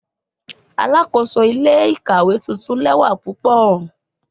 Alakoso ile-ikawe tuntun lẹwa pupọ